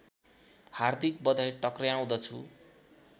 हार्दिक बधाई टक्र्याउँदछु